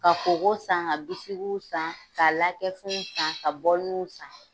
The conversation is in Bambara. Ka koko san ka bisikiw san ka lakɛfɛnw san ka bɔliniw san.